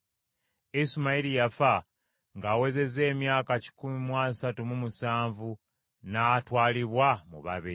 Isimayiri yafa ng’awezezza emyaka kikumi mu asatu mu musanvu n’atwalibwa mu babe.